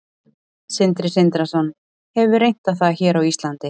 Sindri Sindrason: Hefur reynt á það hér á Íslandi?